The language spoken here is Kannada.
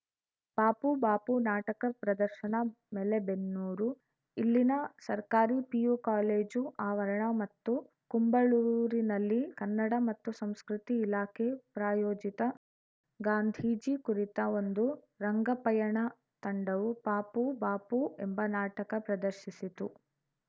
ಪಾಪುಬಾಪು ನಾಟಕ ಪ್ರದರ್ಶನ ಮೆಲೇಬೆನ್ನೂರು ಇಲ್ಲಿನ ಸರ್ಕಾರಿ ಪಿಯು ಕಾಲೇಜು ಆವರಣ ಮತ್ತು ಕುಂಬಳೂರಿನಲ್ಲಿ ಕನ್ನಡ ಮತ್ತು ಸಂಸ್ಕೃತಿ ಇಲಾಖೆ ಪ್ರಾಯೋಜಿತ ಗಾಂಧೀಜಿ ಕುರಿತ ಒಂದು ರಂಗ ಪಯಣ ತಂಡವು ಪಾಪುಬಾಪು ಎಂಬ ನಾಟಕ ಪ್ರದರ್ಶಿಸಿತು